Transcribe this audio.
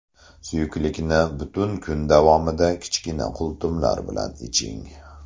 Suyuqlikni butun kun davomida kichkina qultumlar bilan iching.